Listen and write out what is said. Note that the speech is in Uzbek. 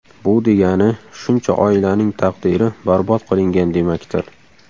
Bu degani, shuncha oilaning taqdiri barbod qilingan demakdir.